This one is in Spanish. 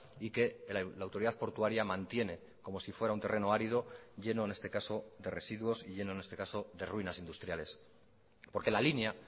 y que la autoridad portuaria mantiene como si fuera un terreno árido lleno en este caso de residuos y lleno en este caso de ruinas industriales porque la línea